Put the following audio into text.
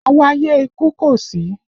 Àwáyé ikú kò sí